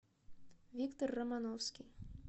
виктор романовский